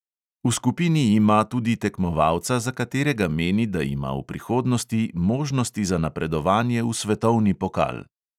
V skupini ima tudi tekmovalca, za katerega meni, da ima v prihodnosti možnosti za napredovanje v svetovni pokal.